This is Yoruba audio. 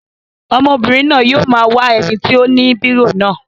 Ọmọbìnrin náà yóò máa wá ẹni tí ó ni bírò náà.